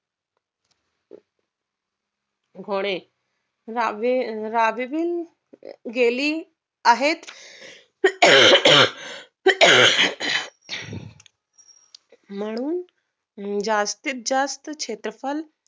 होणे राहवे राहवेतील गेली आहेत म्हणून जास्तीत जास्त क्षेत्रफळ